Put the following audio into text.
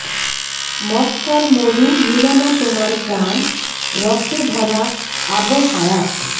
মক্কার মরু নিল না তোমার প্রাণ রসে ভরা আবহায়াত